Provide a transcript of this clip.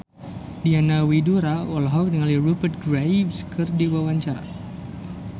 Diana Widoera olohok ningali Rupert Graves keur diwawancara